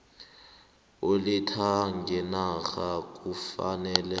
oletha ngenarheni kufanele